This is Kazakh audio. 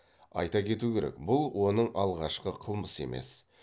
айта кету керек бұл оның алғашқы қылмысы емес